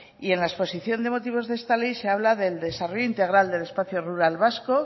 y en la exposición de motivos de esta ley se habla del desarrollo integral del espacio rural vasco